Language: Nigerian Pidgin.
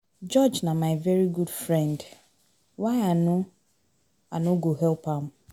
George na my very good friend. Why I no I no go help am?